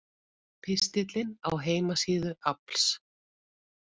Pistillinn á heimasíðu AFLs